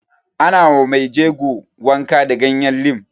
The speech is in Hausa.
Ana ma mai jego wanka da ganyen lim